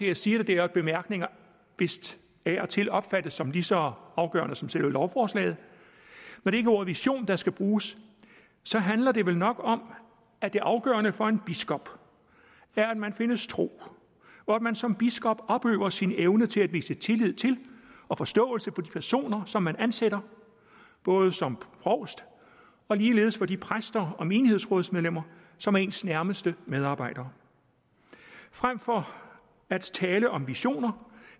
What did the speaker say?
jeg siger det er at bemærkninger vist af og til opfattes som lige så afgørende som selve lovforslaget der skal bruges så handler det vel nok om at det afgørende for en biskop er at man findes tro og at man som biskop opøver sin evne til at vise tillid til og forståelse for den person som man ansætter som provst og ligeledes for de præster og menighedsrådsmedlemmer som er ens nærmeste medarbejdere frem for at tale om visioner